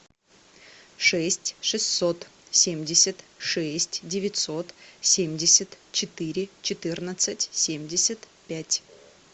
шесть шестьсот семьдесят шесть девятьсот семьдесят четыре четырнадцать семьдесят пять